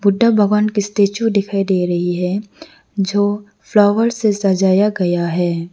बुद्धा भगवान कि स्टेच्यू दिखाई दे रही है जो फ्लावर से सजाया गया है।